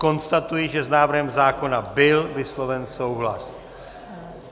Konstatuji, že s návrhem zákona byl vysloven souhlas.